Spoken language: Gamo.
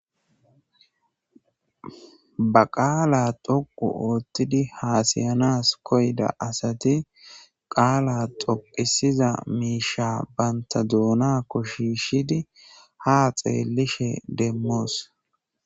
ba qaala toqu oothtidi haasayanas koyda asati qaala toqisiza miisha banta duunakko shiishidi ha xeellishe demmoos